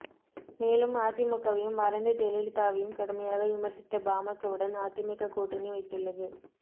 மேலும் அதிமுகவையும் மறைந்த ஜெயலலிதாவையும் கடுமையாக விமர்சித்த பாமகவுடன் அதிமுக கூட்டணி வைத்துள்ளது